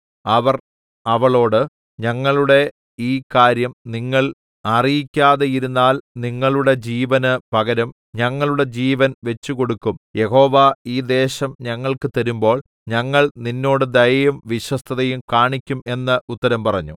അവർ അവളോട് ഞങ്ങളുടെ ഈ കാര്യം നിങ്ങൾ അറിയിക്കാതെയിരുന്നാൽ നിങ്ങളുടെ ജീവന് പകരം ഞങ്ങളുടെ ജീവൻ വച്ചുകൊടുക്കും യഹോവ ഈ ദേശം ഞങ്ങൾക്ക് തരുമ്പോൾ ഞങ്ങൾ നിന്നോട് ദയയും വിശ്വസ്തതയും കാണിക്കും എന്ന് ഉത്തരം പറഞ്ഞു